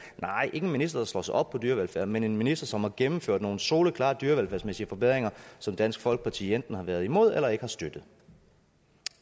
en minister der slår sig op på dyrevelfærd men en minister som har gennemført nogle soleklare dyrevelfærdsmæssige forbedringer som dansk folkeparti enten har været imod eller ikke har støttet